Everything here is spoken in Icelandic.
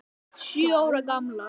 Sjö ára gamlar.